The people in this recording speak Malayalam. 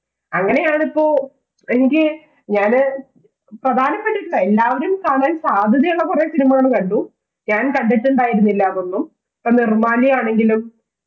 അങ്ങനെയാണ് ഇപ്പോ എനിക്ക് ഞാന് പ്രധാനപെട്ടിട്ടുള്ള എല്ലാവരും കാണാൻ സാധ്യതയുള്ള കുറേ cinema കൾ കണ്ടു ഞാൻ കണ്ടിട്ടുണ്ടായിരുന്നില്ല അതൊന്നും ഇപ്പോൾ നിർമ്മാല്യ ആണെങ്കിലും